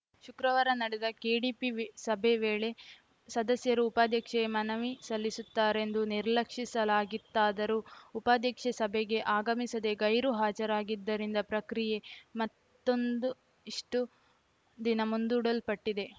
ಶುಕ್ರವಾರ ನಡೆದ ಕೆಡಿಪಿ ವಿ ಸಭೆ ವೇಳೆ ಸದಸ್ಯರು ಉಪಾಧ್ಯಕ್ಷೆಯ ಮನವಿ ಸಲ್ಲಿಸುತ್ತಾರೆಂದು ನಿರೀಕ್ಷಿಸಲಾಗಿತ್ತಾದರೂ ಉಪಾಧ್ಯಕ್ಷೆ ಸಭೆಗೆ ಆಗಮಿಸದೆ ಗೈರು ಹಾಜರಾಗಿದ್ದರಿಂದ ಪ್ರಕ್ರಿಯೆ ಮತ್ತೊಂದು ಇಷ್ಟು ದಿನ ಮುಂದೂಡಲ್ಪಟ್ಟಿದೆ